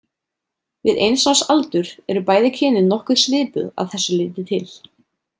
Við eins árs aldur eru bæði kynin nokkuð svipuð að þessu leyti til.